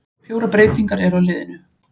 Fjórar breytingar eru á liðinu.